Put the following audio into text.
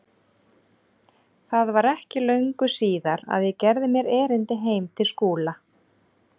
Það var ekki löngu síðar að ég gerði mér erindi heim til Skúla.